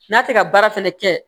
N'a tɛ ka baara fɛnɛ kɛ